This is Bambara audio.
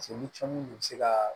ni cɔmu in bɛ se ka